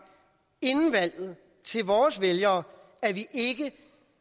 til vores vælgere